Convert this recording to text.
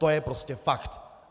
To je prostě fakt.